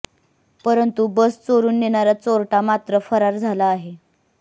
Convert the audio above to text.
परंतु बस चोरून नेणारा चोरटा मात्र फरार झाला आहे